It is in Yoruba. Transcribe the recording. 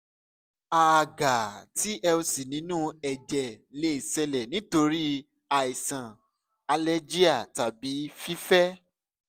a a ga tlc ninu ẹjẹ le ṣẹlẹ nitori aisan alergia tabi fifẹ